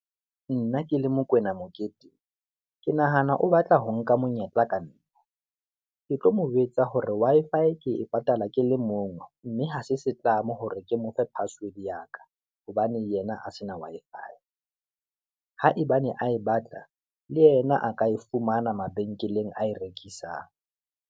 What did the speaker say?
Nna ke le Mokoena Moketeng, ke nahana o batla ho nka monyetla ka nna, ke tlo mo jwetsa hore Wi-Fi ke e patala ke le mong, mme hase setlamo hore ke mo fe password ya ka, hobane yena a se na Wi-Fi. Haebane a e batla le yena a ka e fumana mabenkeleng a e rekisang.